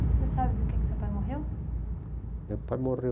E você sabe do que que seu pai morreu? Meu pai morreu